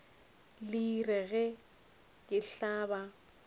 le rile ge le hlaba